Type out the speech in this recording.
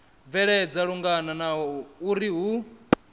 bvelela lungana na uri hu